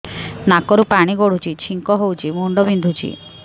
ନାକରୁ ପାଣି ଗଡୁଛି ଛିଙ୍କ ହଉଚି ମୁଣ୍ଡ ବିନ୍ଧୁଛି